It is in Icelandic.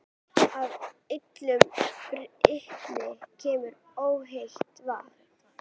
Af illum brunni kemur óhreint vatn.